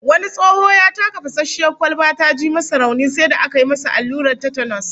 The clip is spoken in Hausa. Wani tsoho ya taka fasasshiyar kwalba ta ji masa rauni, sai da aka yi masa allurar Tetanus